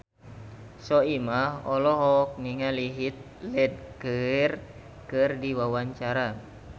Soimah olohok ningali Heath Ledger keur diwawancara